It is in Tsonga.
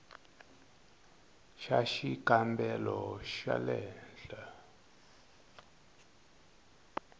xa xikambelo xa le henhla